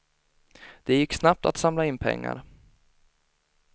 Det gick snabbt att samla in pengar.